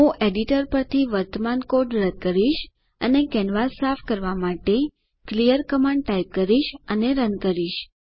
હું એડિટર પરથી વર્તમાન કોડ રદ કરીશ અને કેનવાસ સાફ કરવા માટે ક્લિયર કમાન્ડ ટાઇપ કરીશ અને રન કરીશ